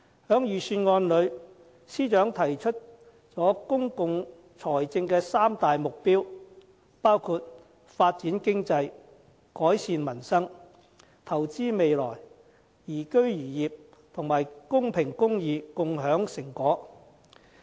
在預算案中，司長提出了公共財政的三大目標，包括發展經濟、改善民生；投資未來，宜居宜業；及公平公義，共享成果。